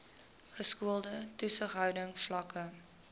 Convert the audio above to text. geskoolde toesighouding vlakke